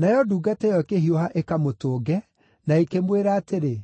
Nayo ndungata ĩyo ĩkĩhiũha ĩkamũtũnge, na ĩkĩmwĩra atĩrĩ,